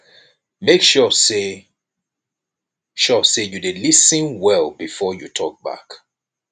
make sure say sure say you dey lis ten well before you talk back